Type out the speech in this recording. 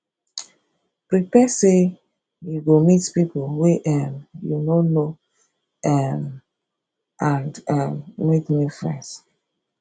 prepare say you go meet pipo wey um you no know um amd um make new friends